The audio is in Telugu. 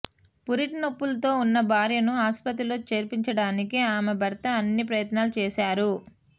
పురిటి నొప్పులతో ఉన్న భార్యను ఆసుపత్రిలో చేర్పించడానికి ఆమె భర్తా అన్ని ప్రయత్నాలు చేశారు